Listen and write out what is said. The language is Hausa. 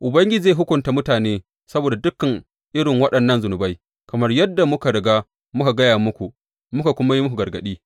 Ubangiji zai hukunta mutane saboda dukan irin waɗannan zunubai, kamar yadda muka riga muka gaya muku, muka kuma yi muku gargaɗi.